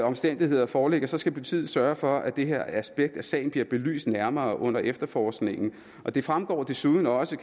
omstændigheder foreligger så skal politiet sørge for at det her aspekt af sagen bliver belyst nærmere under efterforskningen det fremgår desuden også